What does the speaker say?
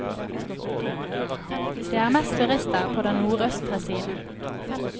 Det er mest turister på den nordøstre siden.